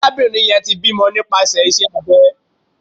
Arabinrin yẹn ti bimọ nipasẹ ise abė